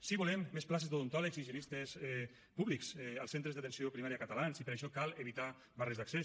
sí volem més places d’odontòlegs i higienistes públics als centres d’atenció primària catalans i per això cal evitar barres d’accés